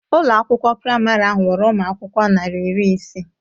Ụlọ akwụkwọ praịmarị ahụ nwere umụ akwụkwọ narị iri ise